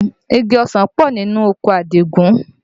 Igi ọsàn pọ̀ nínú oko Àdìgún